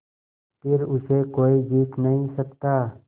फिर उसे कोई जीत नहीं सकता